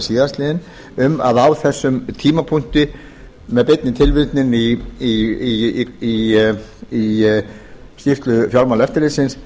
síðastliðnum um að á þessum tímapunkti sé með beinni tilvitnun í skýrslu fjármálaeftirlitsins